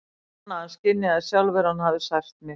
Ég fann að hann skynjaði sjálfur að hann hafði sært mig.